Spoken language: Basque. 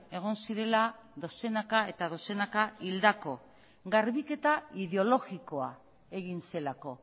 egon zirela dozenaka eta dozenaka hildako garbiketa ideologikoa egin zelako